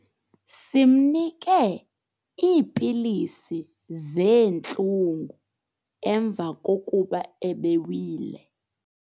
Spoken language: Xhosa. Simnike iipilisi zeentlungu emva kokuba ebewile.